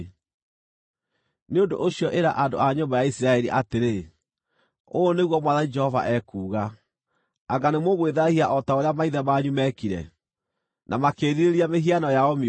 “Nĩ ũndũ ũcio ĩra andũ a nyũmba ya Isiraeli atĩrĩ: ‘Ũũ nĩguo Mwathani Jehova ekuuga: Anga nĩmũgwĩthaahia o ta ũrĩa maithe manyu meekire, na makĩĩrirĩria mĩhiano yao mĩũru?